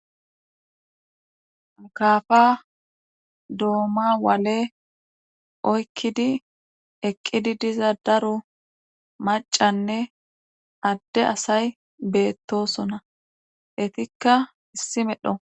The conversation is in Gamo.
Akaafa dooma wale oykkidi eqqidi diza daro macanne adde asay beettosona etikka issi medho